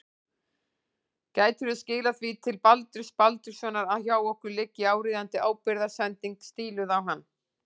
Gætirðu skilað því til Baldurs Baldurssonar að hjá okkur liggi áríðandi ábyrgðarsending stíluð á hann.